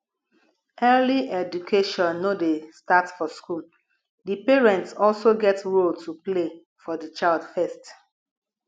early education no dey start for school di parents also get role to play for di child first